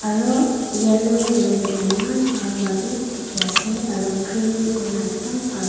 aro yellow kurikina eman bhal ba bi diki asae aro green kuri ekdum bha.